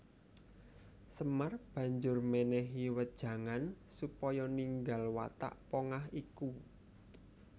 Semar banjur mènèhi wejangan supaya ninggal watak pongah iku